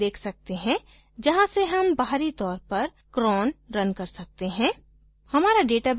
यहाँ हम एक link देख सकते हैं जहाँ से हम बाहरी तौर पर cron रन कर सकते हैं